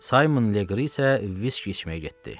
Saymon Legri isə viski içməyə getdi.